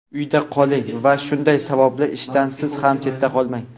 Uyda qoling va shunday savobli ishdan siz ham chetda qolmang.